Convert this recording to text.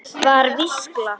Var skýrsla